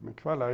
Como é que fala?